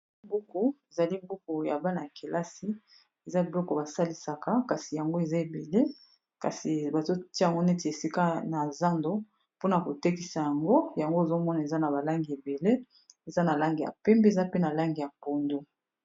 Buku ezali buku ya bana ya kelasi eza biloko basalisaka kasi yango eza ebele kasi bazotiya yango neti esika na zando mpona kotekisa yango yango ozomona eza na balangi ebele eza na langi ya pembe eza pe na langi ya pondo